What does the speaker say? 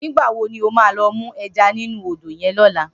Nigba wó ló má lò mú èjá ninú ódó yèn lòlá?